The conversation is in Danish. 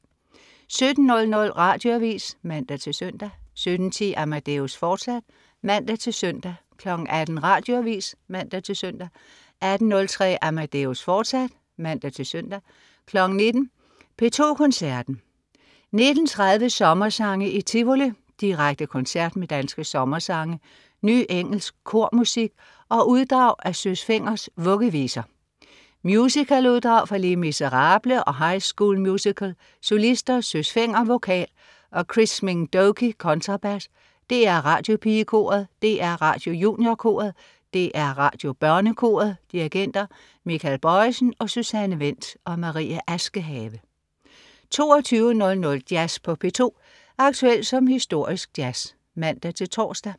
17.00 Radioavis (man-søn) 17.10 Amadeus, fortsat (man-søn) 18.00 Radioavis (man-søn) 18.03 Amadeus, fortsat (man-søn) 19.00 P2 Koncerten. 19.30 Sommersange i Tivoli. direkte koncert med danske sommersange, ny engelsk kormusik og uddrag af Søs Fengers Vuggeviser. Musicaluddrag fra Les Miserables og High School Musical. Solister: Søs Fenger, vokal, og Chris Minh Doky, kontrabas. DR Radiopigekoret, DR Radiojuniorkoret, DR Radiobørnekoret. Dirigenter: Michael Bojesen og Susanne Wendt. Marie Askehave 22.00 Jazz på P2. Aktuel som historisk jazz (man-tors)